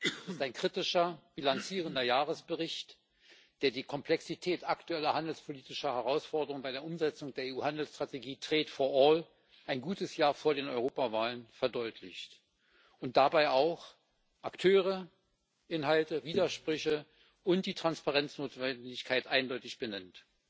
Ihr Bericht ist ein kritischer bilanzierender Jahresbericht, der die Komplexität aktueller handelspolitischer Herausforderungen bei der Umsetzung der EU Handelsstrategie ein gutes Jahr vor den Europawahlen verdeutlicht und dabei auch Akteure, Inhalte, Widersprüche und die Transparenznotwendigkeit eindeutig benennt.